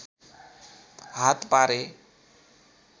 हात पारे